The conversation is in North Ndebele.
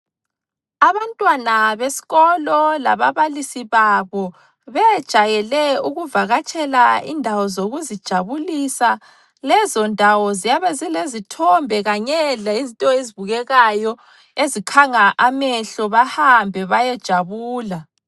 Abantwana besikolo lababalisi babo bejayele ukuvakatshela indawo zokuzijabulisa lezo ndawo ziyabe zilezithombe kanye lezinto ezibukekayo ezikhanga amehlo bahambe bayejabula.